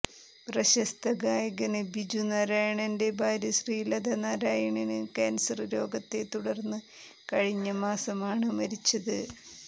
പ്രശസ്ത ഗായകന് ബിജു നാരായണന്റെ ഭാര്യ ശ്രീലത നാരായണന് കാന്സര് രോഗത്തെ തുടര്ന്ന് കഴിഞ്ഞ മാസമാണ് മരിച്ചത്